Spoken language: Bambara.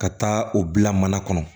Ka taa o bila mana kɔnɔ